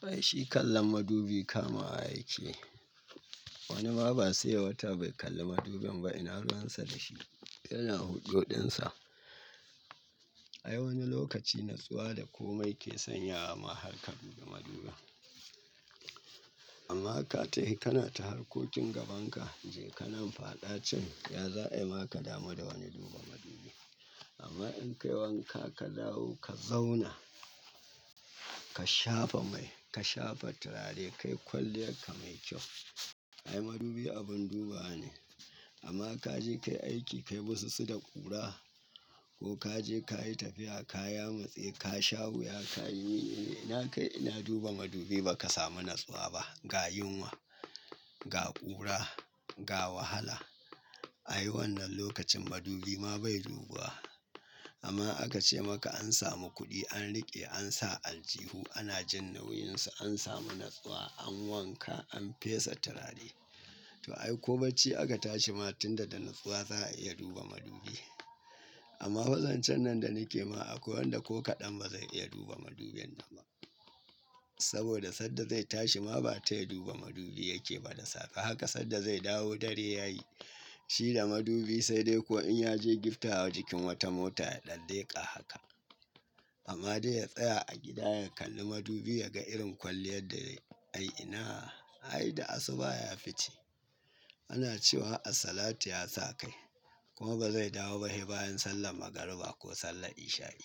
To ai shi kallon madubi kamawa yake. Wani ma ba sai yai wata bai kalli madubin ba ina ruwansa da shi yana hujjar dinsa. Ai wani lokaci natsuwa da komai ke sanyawa ma har ka duba maduba. Amma ka tahi kana ta harkokin gaban ka je ka nan faɗa can ya za'a ma ka damu da wani duba madubi. Amma in kai wanka ka dawo ka zauna, ka shafa mai, ka shafa turare kai kwalliyar ka mai kyau. Ai madubi abin dubawa ne amma ka je kai aiki kai musu su da ƙura ko ka je ka yi tafiya ka yama tsaye ka sha wuya ka yi yi yi ina kai ina duba madubi ba ka samu natsuwa ba ga yunwa, ga ƙura, ga wahala. Ai wannan lokacin madubi ma bai duba. Amma aka ce maka an samu kuɗi an riƙe an sa aljihu ana jin nauyinsa an samu natsuwa an wanka an fesa turare. To ai ko bacci aka tashi ma tunda da natsuwa za'a iya duba madubi. Amma wa zancen nan da ni ke ma akwai wanda ko kaɗan ba zai iya duba madubin ba saboda sanda zai tashi ma ba ta ya duba madubi yake ba da safe haka sanda zai dawo dare ya yi shi da madubi sai dai ko in ya je giftawa jikin wata mota ya ɗan leƙa haka. Amma dai ya tsaya a gida ya kalli madubi ya ga irin kwalliyar da ai ina ai da asuba ya fice. Ana cewa as-salatu ya sa kai kuma ba zai dawo ba bayan sallar magariba ko sallar isha'i.